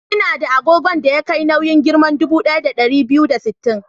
Ina da agogon da ya kai nauyin giram dubu ɗaya da ɗari biyu da sittin.